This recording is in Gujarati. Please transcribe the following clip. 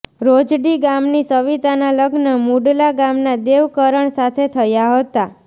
રોજડી ગામની સવિતાના લગ્ન મુડલા ગામના દેવ કરણ સાથે થયા હતા